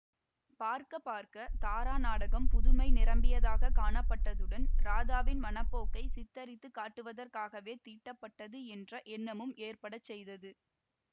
பார்க்க பார்க்க தாரா நாடகம் புதுமை நிரம்பியதாகக் காணப்பட்டதுடன் ராதாவின் மனப்போக்கைச் சித்தரித்து காட்டுவதற்காகவே தீட்டப்பட்டது என்ற எண்ணமும் ஏற்படச் செய்தது